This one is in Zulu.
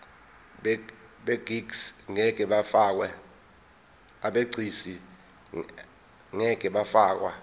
abegcis ngeke bafakwa